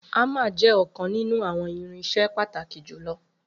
Hammer jẹ ọkan ninu awọn irinṣẹ pataki julọ